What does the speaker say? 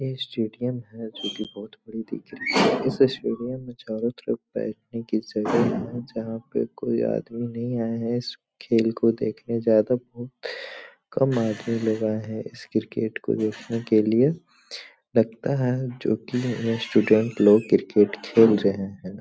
ये स्टेडियम है जोकि बहुत बड़ी दिख रही है। इस स्टेडियम मे चारो तरफ बैठने की जगह है। जहाँ पे कोई आदमी नहीं आया है इस खेल को देखने ज्यादा। बहुत काम आदमी लोग आए हैं इस क्रिकेट को देखने के लिए। लगता है जोकि स्टूडेंट लोग क्रिकेट खेल रहें हैं।